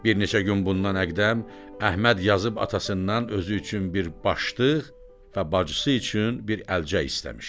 Bir neçə gün bundan əqdəm Əhməd yazıb atasından özü üçün bir başdıq və bacısı üçün bir əlcək istəmişdi.